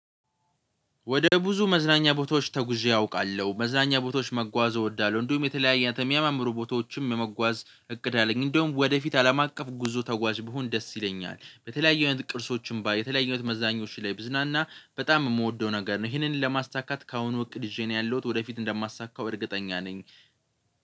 ወደ ብዙ መዝናኛ ቦታዎች ተጉዤ አውቃለሁ መዝናኛ ቦታዎች መጓዝ እወዳለሁ። እንዲሁም የተለያየ የሚያመምሩ ቦታዎችም የመጓዝ እቅድ አለኝ። እንደውም ወደፊት አለም አቀፍ ጉዞ ተጓዥ ብሆን ደስ ይለኛል። በተለያየ አይነት ቅርሶች ባይ የተለያዩ አይነት መዝናኞች ብዝናና በጣም የምወደው ነገር ነው። ይህንን ለማሳካት ከአሁኑ እቅድ ይዤ ነው ያለሁት ወደፊት እንደማሳካው እርግጠኛ ነኝ